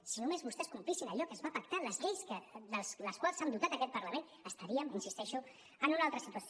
si només vostès complissin allò que es va pactar les lleis de les quals s’ha dotat aquest parlament estaríem hi insisteixo en una altra situació